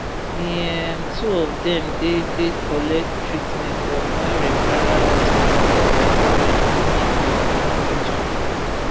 di um two of dem dey dey collect treatment for moi referral hospital for eldoret di main town for di region